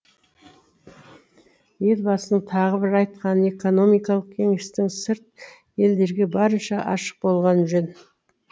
елбасының тағы бір айтқаны экономикалық кеңісттің сырт елдерге барынша ашық болғаны жөн